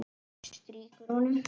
Strýkur honum.